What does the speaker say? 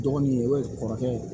Dɔgɔnin e kɔrɔkɛ ye